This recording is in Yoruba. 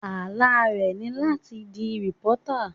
Àlá e ni láti di reporter.